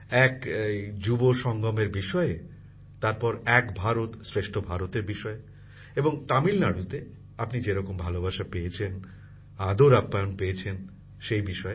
প্রথমত যুবা সঙ্গমের বিষয়ে তারপর এক ভারত শ্রেষ্ঠ ভারতের বিষয়ে এবং তামিলনাড়ুতে আপনি যেরকম ভালোবাসা পেয়েছেন আদরআপ্যায়ন পেয়েছেন সেই বিষয়ে